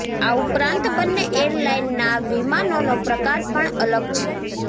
આ ઉપરાંત બંને એરલાઇનના વિમાનોનો પ્રકાર પણ અલગ છે